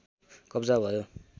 कब्जा भयो